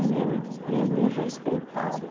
Ele não, ele me respeitava.